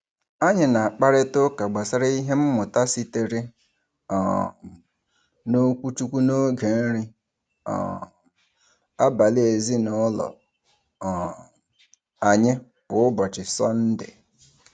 Anyị na-akparịtaụka gbasara ihe mmụta sitere um n’okwuchukwu n’oge nri um abalị ezinaụlọ um anyị kwa ụbọchị Sọnde.